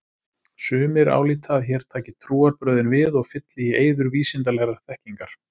Sumir álíta að hér taki trúarbrögðin við og fylli í eyður vísindalegrar þekkingar.